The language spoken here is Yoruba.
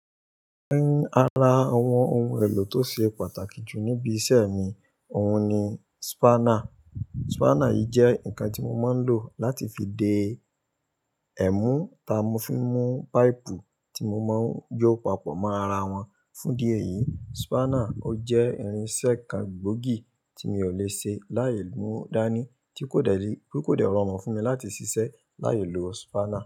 Nínú ara àwọn ohun èlò tó ṣe pàtàkì jù níbi iṣẹ́ mi, òun ni spanner. Spanner yìí jẹ́ nǹkan tí mo máa ń lò láti fi de ẹ̀mú ta mú fi mú páìpù tí mo máa ń jó papọ̀ mọ́ ara wọn, fún dí ẹ̀yìí. Spanner ó jẹ́ irin-iṣẹ́ kan gbòógì tí mi ò le ṣe láì mú dání tí kò dẹ̀ rọ̀run fún mi láti ṣiṣẹ́ láì lo spanner.